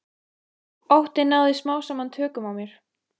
Óttinn náði smám saman tökum á mér.